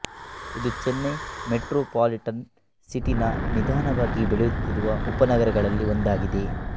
ಇದು Chennai metropolitan city ನ ನಿಧಾನವಾಗಿ ಬೆಳೆಯುತ್ತಿರುವ ಉಪನಗರಗಳಲ್ಲಿ ಒಂದಾಗಿದೆ